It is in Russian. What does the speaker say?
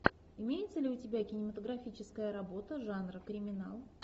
имеется ли у тебя кинематографическая работа жанра криминал